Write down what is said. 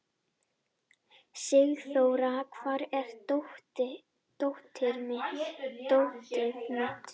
Sigþóra, hvar er dótið mitt?